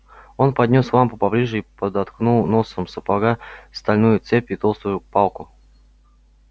он поднёс лампу поближе и подтолкнул носком сапога стальную цепь и толстую палку